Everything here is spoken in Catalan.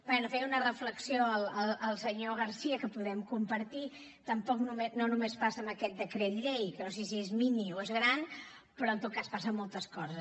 bé feia una reflexió el senyor garcía que podem compartir tampoc no només passa amb aquest decret llei que no sé si és mini o és gran però en tot cas passa en moltes coses